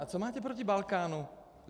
A co máte proti Balkánu?